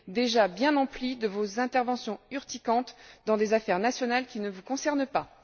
déjà bien empli de vos interventions urticantes dans des affaires nationales qui ne vous concernent pas.